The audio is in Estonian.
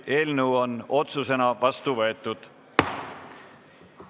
Eelnõu on otsusena vastu võetud.